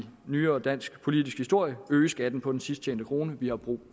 nyere dansk politisk historie øge skatten på den sidst tjente krone vi har brug